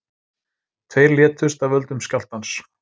Tveir létust af völdum skjálftans